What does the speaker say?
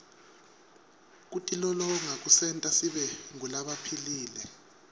kutilolonga kusenta sibe ngulabaphilile